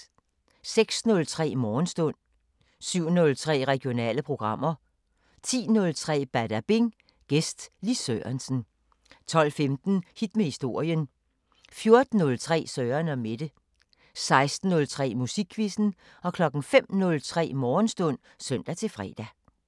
06:03: Morgenstund 07:03: Regionale programmer 10:03: Badabing: Gæst Lis Sørensen 12:15: Hit med historien 14:03: Søren & Mette 16:03: Musikquizzen 05:03: Morgenstund (søn-fre)